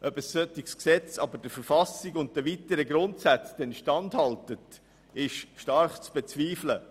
Ob ein solches Gesetz aber der Verfassung und den weiteren Grundsätzen standhält, ist stark zu bezweifeln.